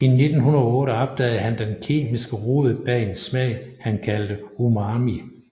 I 1908 opdagede han den kemiske rod bag en smag han kaldte umami